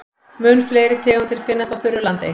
Mun fleiri tegundir finnast á þurru landi.